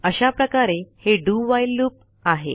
अशा प्रकारे हे do व्हाईल लूप आहे